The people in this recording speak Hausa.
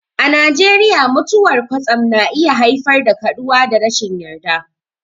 A Najeriya, mutuwar kwatsam na iya haifar da kaduwa da rashin yarda.